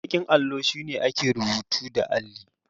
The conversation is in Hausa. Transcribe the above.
Baƙin allo shine ake rubutun da alli.